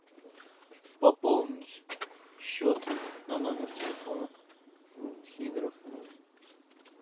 пополнить счет на номер телефона сидоров